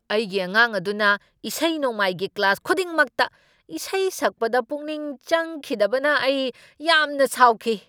ꯑꯩꯒꯤ ꯑꯉꯥꯡ ꯑꯗꯨꯅ ꯏꯁꯩ ꯅꯣꯡꯃꯥꯏꯒꯤ ꯀ꯭ꯂꯥꯁ ꯈꯨꯗꯤꯡꯃꯛꯇ ꯏꯁꯩ ꯁꯛꯄꯗ ꯄꯨꯛꯅꯤꯡ ꯆꯪꯈꯤꯗꯕꯅ ꯑꯩ ꯌꯥꯝꯅ ꯁꯥꯎꯈꯤ꯫